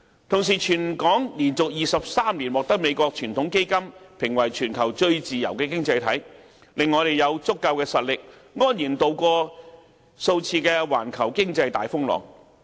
同時，香港連續23年獲美國傳統基金會評為全球最自由的經濟體，令我們有足夠實力，安然渡過數次環球經濟大風浪。